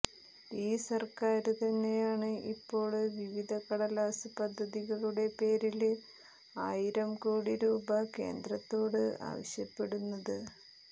ഈ സര്ക്കാര് തന്നെയാണ് ഇപ്പോള് വിവിധ കടലാസു പദ്ധതികളുടെ പേരില് ആയിരം കോടി രൂപ കേന്ദ്രത്തോട് ആവശ്യപ്പെടുന്നത്